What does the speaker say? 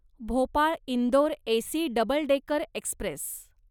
Bhopal Indore AC double decker Express